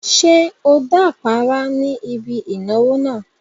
Ṣé o dápàárá ní ibi ìnáwó náà?